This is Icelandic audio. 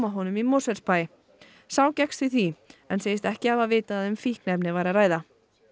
honum í Mosfellsbæ sá gekkst við því en segist ekki hafa vitað að um fíkniefni væri að ræða